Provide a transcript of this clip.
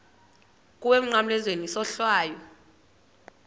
kuwe emnqamlezweni isohlwayo